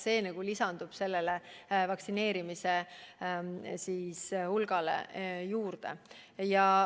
See lisandub vaktsineeritute hulgale juurde.